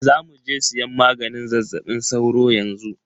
Zamuje siyan maganin zazzaɓin sauro yanxu.